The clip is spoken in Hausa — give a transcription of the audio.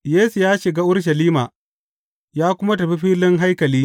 Yesu ya shiga Urushalima ya kuma tafi filin haikali.